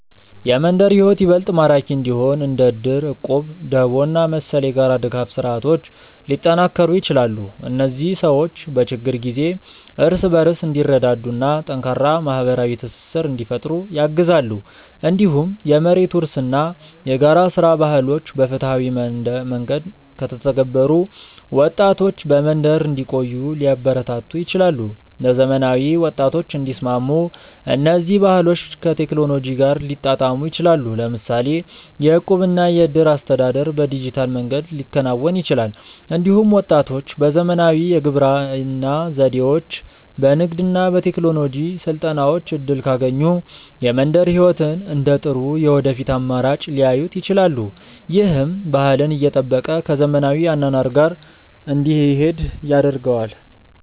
የመንደር ሕይወት ይበልጥ ማራኪ እንዲሆን እንደ እድር፣ እቁብ፣ ደቦ እና መሰል የጋራ ድጋፍ ስርዓቶች ሊጠናከሩ ይችላሉ። እነዚህ ሰዎች በችግር ጊዜ እርስ በርስ እንዲረዳዱ እና ጠንካራ ማህበራዊ ትስስር እንዲፈጥሩ ያግዛሉ። እንዲሁም የመሬት ውርስ እና የጋራ ሥራ ባህሎች በፍትሃዊ መንገድ ከተተገበሩ ወጣቶች በመንደር እንዲቆዩ ሊያበረታቱ ይችላሉ። ለዘመናዊ ወጣቶች እንዲስማሙ እነዚህ ባህሎች ከቴክኖሎጂ ጋር ሊጣጣሙ ይችላሉ። ለምሳሌ የእቁብ እና የእድር አስተዳደር በዲጂታል መንገድ ሊከናወን ይችላል። እንዲሁም ወጣቶች በዘመናዊ የግብርና ዘዴዎች፣ በንግድ እና በቴክኖሎጂ ስልጠናዎች እድል ካገኙ የመንደር ሕይወትን እንደ ጥሩ የወደፊት አማራጭ ሊያዩት ይችላሉ። ይህም ባህልን እየጠበቀ ከዘመናዊ አኗኗር ጋር እንዲሄድ ያደርገዋል።